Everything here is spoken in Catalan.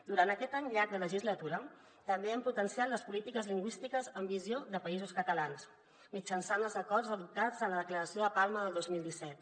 durant aquest any llarg de legislatura també hem potenciat les polítiques lingüístiques amb visió de països catalans mitjançant els acords adoptats a la declaració de palma del dos mil disset